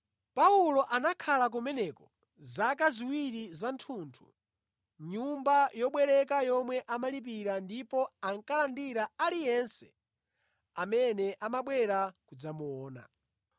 Paulo anakhala kumeneko zaka ziwiri zathunthu mʼnyumba yobwereka yomwe amalipira ndipo ankalandira aliyense amene amabwera kudzamuona.